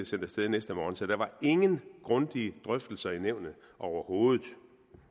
sendt af sted næste morgen så der var ingen grundige drøftelser i nævnet overhovedet